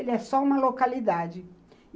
Ele é só uma localidade.